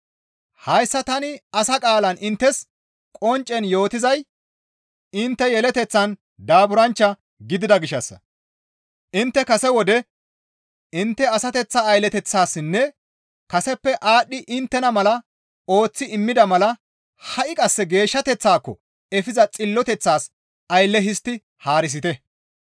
Hayssa tani asa qaalan inttes qonccen yootizay intte yeleteththan daaburanchcha gidida gishshassa. Intte kase wode intte asateththaa aylleteththasinne kaseppe aadhdhi iitana mala ooththi immida mala ha7i qasse geeshshateththaako efiza xilloteththas aylle histti haarisite.